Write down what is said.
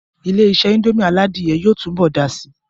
Ilé-isé indomie aládìyẹ yóò tún bọ̀ dàá si